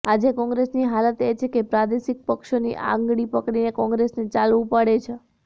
આજે કોંગ્રેસની હાલત એ છે કે પ્રાદેશિક પક્ષોની આંગળી પકડીને કોંગ્રેસને ચાલવું પડે છે